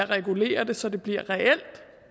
regulere det så det bliver reelt